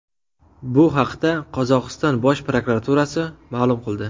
Bu haqda Qozog‘iston bosh prokuraturasi ma’lum qildi .